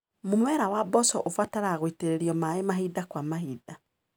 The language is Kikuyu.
Mũmera wa mboco ũbataraga gwĩtĩrĩrio maĩ mahinda kwa mahinda.